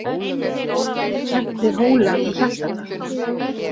Það er kennt við Hóla í Hjaltadal.